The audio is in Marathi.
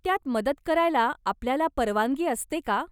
त्यात मदत करायला आपल्याला परवानगी असते का?